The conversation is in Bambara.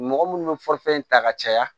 Mɔgɔ munnu bɛ ta ka caya